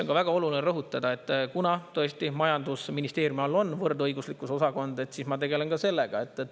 Ja on väga oluline rõhutada, et kuna, tõesti, majandusministeeriumis on osakond, siis ma tegelen ka sellega.